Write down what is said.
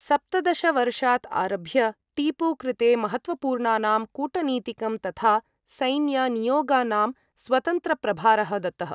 सप्तदश वर्षात् आरभ्य, टीपू कृते महत्त्वपूर्णानां कूटनीतिकं तथा सैन्यनियोगानां स्वतन्त्रप्रभारः दत्तः।